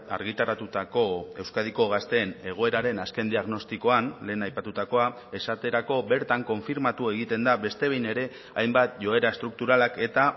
argitaratutako euskadiko gazteen egoeraren azken diagnostikoan lehen aipatutakoa esaterako bertan konfirmatu egiten da beste behin ere hainbat joera estrukturalak eta